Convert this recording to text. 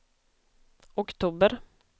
oktober